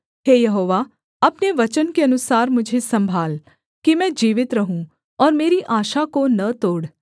हे यहोवा अपने वचन के अनुसार मुझे सम्भाल कि मैं जीवित रहूँ और मेरी आशा को न तोड़